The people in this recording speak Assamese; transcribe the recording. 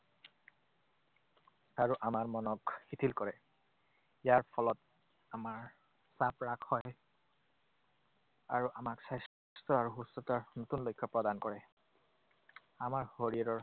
আৰু আমাৰ মনক শিথিল কৰে। ইয়াৰ ফলত আমাৰ চাপ হ্ৰাস হয় আৰু আমাক স্বাস্থ্য আৰু সুস্থতাৰ নতুন লক্ষ্য প্ৰদান কৰে। আমাৰ শৰীৰৰ